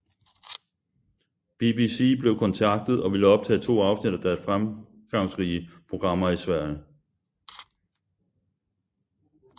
BBC blev kontaktet og ville optage to afsnit af deres fremgangsrige programmer i Sverige